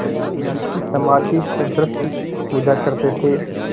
देवी की समाधिसदृश पूजा करते थे